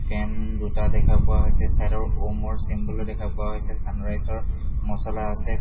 ফেন দুটা দেখা পোৱা হৈছে চাইড ৰ ওমৰ চিম্বল ও দেখা পোৱা হৈছে ছানৰাইজ ৰ মচলা আছে।